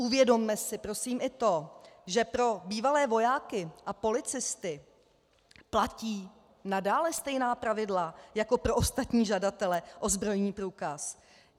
Uvědomme si prosím i to, že pro bývalé vojáky a policisty platí nadále stejná pravidla jako pro ostatní žadatele o zbrojní průkaz.